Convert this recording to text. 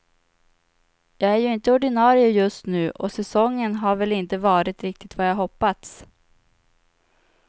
Jag är ju inte ordinarie just nu och säsongen har väl inte varit riktigt vad jag hoppats.